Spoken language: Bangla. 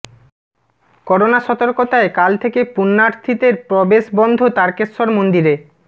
করোনা সতর্কতায় কাল থেকে পুণ্যার্থীদের প্রবেশ বন্ধ তারকেশ্বর মন্দিরে